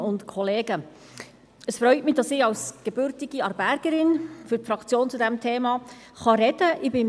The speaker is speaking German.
Es freut mich, dass ich als gebürtige Aarbergerin für die Fraktion zu diesem Thema sprechen kann.